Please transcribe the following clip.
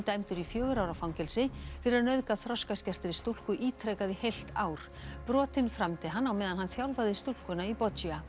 dæmdur í fjögurra ára fangelsi fyrir að nauðga stúlku ítrekað í heilt ár brotin framdi hann á meðan hann þjálfaði stúlkuna í